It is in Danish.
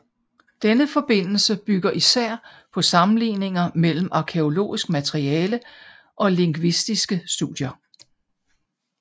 Denne forbindelse bygger især på sammenligninger mellem arkæologisk materiale og lingvistiske studier